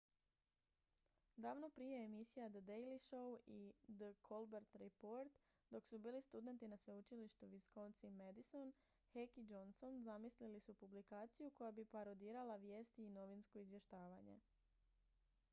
davno prije emisija the daily show i the colbert report dok su bili studenti na sveučilištu wisconsin-madison uw heck i johnson zamislili su publikaciju koja bi parodirala vijesti i novinsko izvještavanje